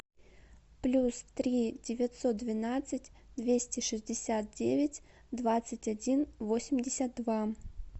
плюс три девятьсот двенадцать двести шестьдесят девять двадцать один восемьдесят два